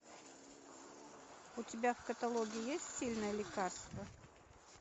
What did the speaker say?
у тебя в каталоге есть сильное лекарство